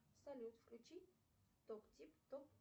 салют включи топ тип топ